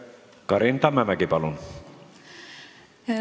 Karin Tammemägi, palun!